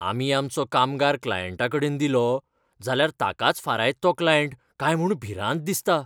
आमी आमचो कामगार क्लायंटाकडेन दिलो जाल्यार ताकाच फारायत तो क्लायंट काय म्हूण भिरांत दिसता.